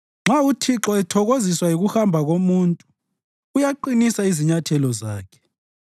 Nxa uThixo ethokoziswa yikuhamba komuntu, uyaqinisa izinyathelo zakhe;